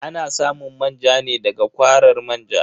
Ana samun manja ne da ga kwarar manja.